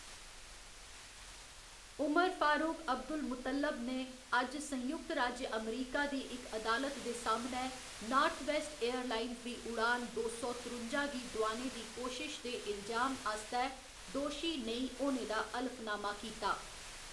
उमर Farouk Abdul Mutallab ने अज्ज संयुक्त राज्य अमेरिका दी इक अदालत दे सामनै नार्थवेस्ट एयरलाइंस दी उड़ान दो सौ त्रुंजा गी डुआने दी कोशश दे इल्जाम आस्तै 'दोशी नेईं' होने दा हलफनामा कीता।